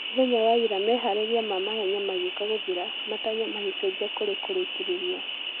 Mũthenya wa ira meharĩria ma mahenya mageũka gũthira , matanya magecenjia kũri kũrekereria.